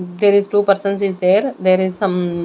There is two persons is there there is some.